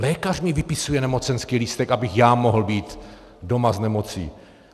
Lékař mi vypisuje nemocenský lístek, abych já mohl být doma s nemocí.